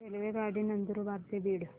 रेल्वेगाडी नंदुरबार ते बीड